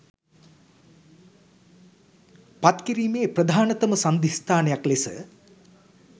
පත් කිරීමේ ප්‍රධානතම සංධිස්ථානයක් ලෙස